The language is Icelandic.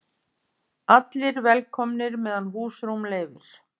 Allir velkomnir meðan húsrúm leyfir